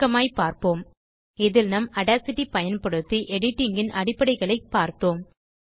சுருக்கமாய்ப் பார்ப்போம்இதில் நாம் audacityபயன்படுத்தி editingன் அடிப்படைகளைப் பார்த்தோம்